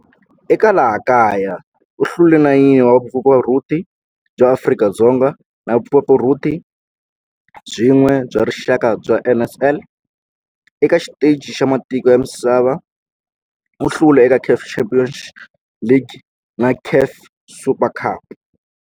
Eka laha kaya u hlule 9 wa vumpfampfarhuti bya Afrika-Dzonga na vumpfampfarhuti byin'we bya rixaka bya NSL. Eka xiteji xa matiko ya misava, u hlule eka CAF Champions League na CAF Super Cup.